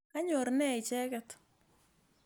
Kanyor ne icheket?